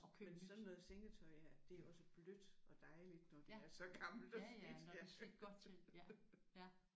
Men sådan noget sengetøj her det er også blødt og dejligt når det er så gammelt og slidt